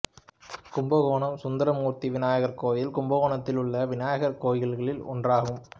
கும்பகோணம் சுந்தரமூர்த்தி விநாயகர் கோயில் கும்பகோணத்தில் உள்ள விநாயகர் கோயில்களில் ஒன்றாகும்